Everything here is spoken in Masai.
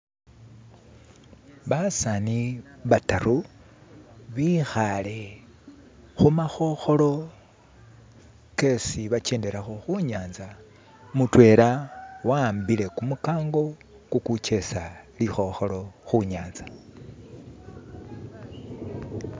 Basani bataru bkhale khumakhokholo kesi bajedelakho khunyatsa mutwela wahambile kumukango gugujesa likhokholo khunyatsa